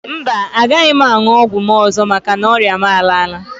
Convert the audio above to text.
Mba, agaghị m aṅụ ọgwụ m ọzọ maka na ọrịa m a laala.